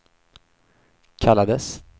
kallades